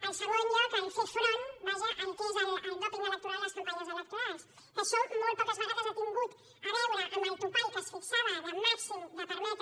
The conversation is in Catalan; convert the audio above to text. en segon lloc fer front vaja al que és el dòping electoral a les campanyes electorals que això molt poques vegades ha tingut a veure amb el topall que es fixava màxim de permetre